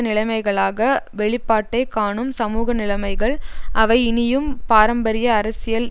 நிலைமைகளாக வெளிப்பாட்டை காணும் சமூக நிலைமைகள் அவை இனியும் பாரம்பரிய அரசியல்